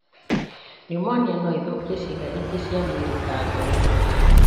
Neumonia noĩthũkie ciĩga ingĩ cia mwĩrĩ ta ngoro